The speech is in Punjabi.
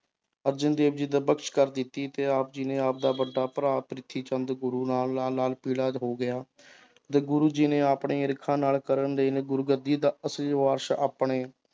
ਅਰਜਨ ਦੇਵ ਜੀ ਕਰ ਦਿੱਤੀ ਤੇ ਆਪ ਜੀ ਨੇ ਆਪਦਾ ਵੱਡਾ ਭਰਾ ਪ੍ਰਿਥੀਚੰਦ ਗੁਰੂ ਪੀਲਾ ਹੋ ਗਿਆ ਤੇ ਗੁਰੂ ਜੀ ਨੇ ਆਪਣੇ ਈਰਖਾ ਨਾਲ ਗੁਰਗੱਦੀ ਦਾ ਅਸਲੀ ਵਾਰਿਸ਼ ਆਪਣੇ